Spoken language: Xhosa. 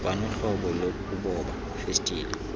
kwanohlobo lokuboba festile